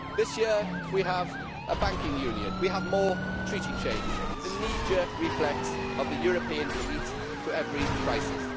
This year we have a banking union, we have more Treaty change the knee jerk reflex of the European elite to every crisis.